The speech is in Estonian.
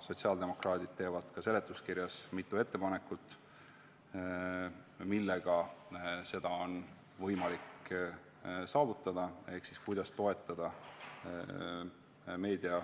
Sotsiaaldemokraadid teevad seletuskirjas mitu ettepanekut, millega seda on võimalik saavutada ehk toetada meedia